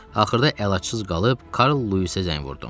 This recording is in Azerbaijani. Axırda əlacsız qalıb Karl Luisə zəng vurdum.